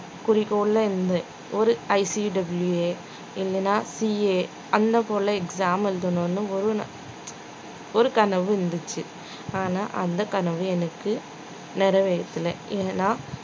குறிக்கோள்ல இருந்தேன் ஒரு ICWA இல்லனா CA அந்த போலே exam எழுதணும்னு ஒரு ஒரு கனவு இருந்துச்சு ஆனா அந்த கனவு எனக்கு நிறைவேறலை ஏன்னா